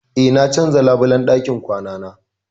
Eh, na canza labulan ɗakin kwanana.